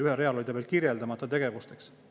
Ühel real oli ta veel kirjeldamata tegevusteks.